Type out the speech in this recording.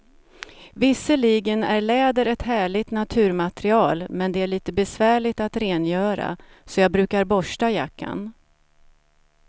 Visserligen är läder ett härligt naturmaterial, men det är lite besvärligt att rengöra, så jag brukar borsta jackan.